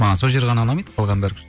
маған сол жері ғана ұнамайды қалғаны бәрі